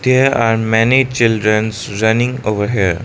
there are many childrens running over here.